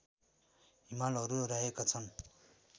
हिमालहरू रहेका छन्